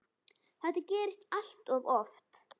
Þetta gerist allt of oft.